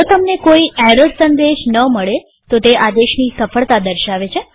જો તમને કોઈ એરર સંદેશ ન મળે તો તે આદેશની સફળતા દર્શાવે છે